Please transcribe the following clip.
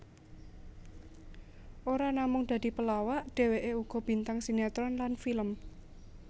Ora namung dadi pelawak dheweké uga bintang sinetron lan film